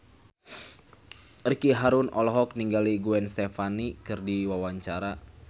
Ricky Harun olohok ningali Gwen Stefani keur diwawancara